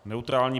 Neutrální.